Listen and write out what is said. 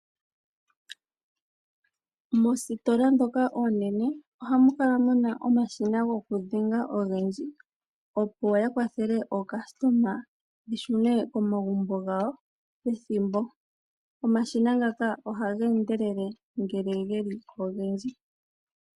Moositola ndhoka oonene ohamu kala muna omashina gokudhenga ogendji opo ya kwathele aalandi ya shune komagumbo gawo nethimbo. Omashina ngaka ohaga endelele ngele geli ogendji.